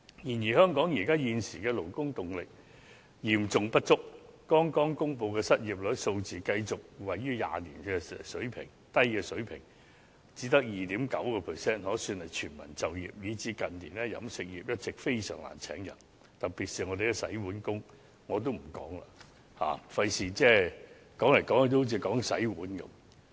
然而，香港現時勞動力嚴重不足，剛公布的失業率數字繼續處於20年的低水平，只有 2.9%， 可說是全民就業，以致近年飲食業在招聘人手方面非常困難，特別是洗碗工，這方面我也不詳述了，免得說來說去也只說洗碗工。